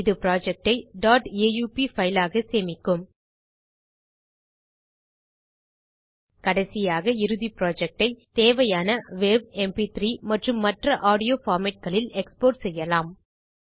இது புரொஜெக்ட் ஐ aup file ஆக சேமிக்கும் கடைசியாக இறுதி புரொஜெக்ட் ஐ தேவையான வாவ் எம்பி3 மற்றும் மற்ற ஆடியோ பார்மேட் ல் எக்ஸ்போர்ட் செய்யவும்